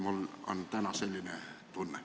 Mul on täna selline tunne.